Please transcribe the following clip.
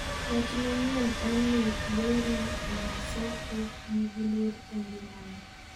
wach manyien en ni Yori Masoku nigi luoro ei ngimane